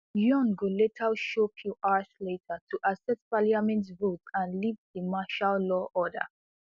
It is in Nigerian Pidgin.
yoon go later show few hours later to accept parliament vote and lift di martial law order